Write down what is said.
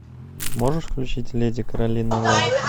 можешь включить леди каролина лэм